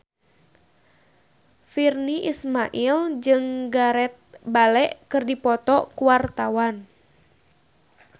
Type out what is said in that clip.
Virnie Ismail jeung Gareth Bale keur dipoto ku wartawan